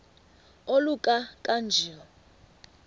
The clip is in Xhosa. oluka ka njl